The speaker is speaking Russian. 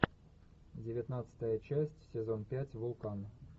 девятнадцатая часть сезон пять вулкан